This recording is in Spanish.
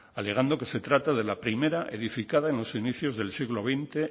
alegando que se trata de la primera edificada en los inicios del siglo veinte